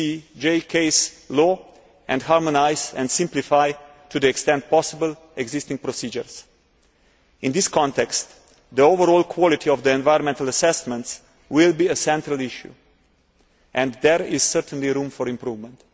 the ECJ case law and harmonise and simplify, to the extent possible, existing procedures. In this context, the overall quality of the environmental assessments will be a central issue, and there is certainly room for improvement.